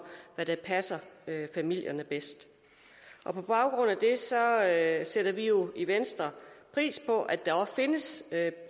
hvad der passer familien bedst på baggrund af sætter vi jo i venstre pris på at der også findes